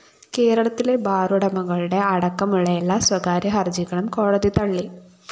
കേരളത്തിലെ ബാറുടമകളുടെ അടക്കമുള്ള എല്ലാ സ്വകാര്യ ഹര്‍ജികളും കോടതി തള്ളി